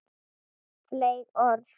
Fleyg orð.